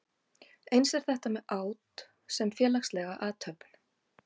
Eins er þetta með át sem félagslega athöfn.